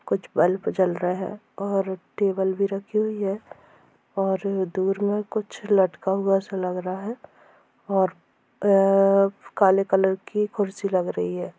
कुछ बल्प जल रहा है और टेबल भी रखी हुई है और दूर में कुछ लटका हुआ सा लग रहा है और अ अ काले कलर की कुर्सी लग रही है।